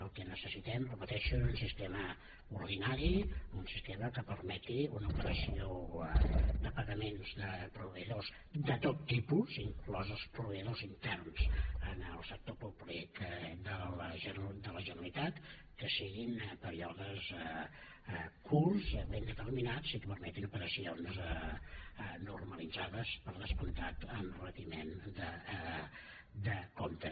el que necessitem ho repeteixo és un sistema ordinari un sistema que permeti una operació de pagaments de proveïdors de tot tipus inclòs els proveïdors interns en el sector públic de la generalitat que siguin períodes curts ben determinats i que permetin operacions normalitzades per descomptat amb retiment de comptes